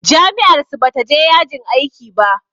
Jami'ar su bata je yajin aiki ba.